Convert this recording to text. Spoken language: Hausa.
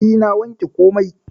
E, na wanke komai.